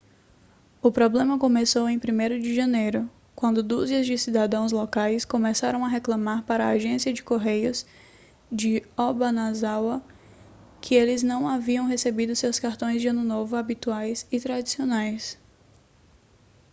o problema começou em 1º de janeiro quando dúzias de cidadãos locais começaram a reclamar para a agência de correios de obanazawa que eles não haviam recebido seus cartões de ano novo habituais e tradicionais